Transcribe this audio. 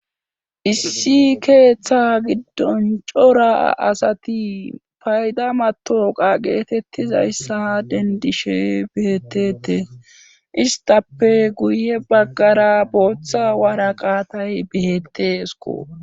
issi keeththa giddon cora asati payda matoqa geetettizayssa dendishe beetete istappe guye baggara booththa wara qaatay beettesko